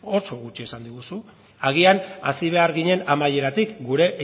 oso gutxi esan diguzu agian hasi behar ginen amaieratik gure